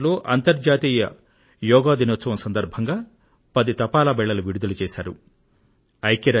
అంతర్జాతీయ యోగా దినోత్సవం సందర్భంగా ఐక్య రాజ్య సమితి యుఎన్ పది తపాలా స్టాంపులు విడుదల చేసింది